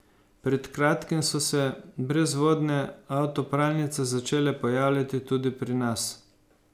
Pred kratkim so se brezvodne avtopralnice začele pojavljati tudi pri nas.